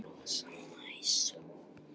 Rosa næs.